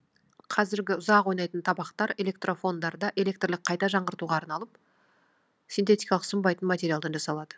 қазіргі ұзақ ойнайтын табақтар электрофондарда электрлік қайта жаңғыртуға арналып синтетикалық сынбайтын материалдан жасалады